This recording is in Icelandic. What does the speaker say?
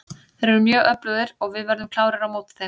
Þeir eru mjög öflugir og við verðum klárir á móti þeim.